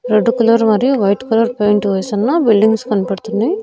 Red colour మరియు white colour paint వేసున్న buildings కనబడుతున్నాయ్.